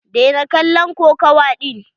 Daina kallon kokawa ɗin.